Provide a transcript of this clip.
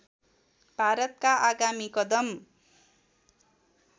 भारतका आगामी कदम